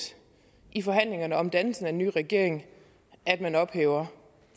i forhandlingerne om dannelsen af en ny regering at man ophæver